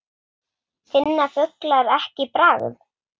Finna fuglar ekki bragð?